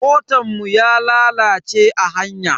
Motan mu ya lalace a hanya.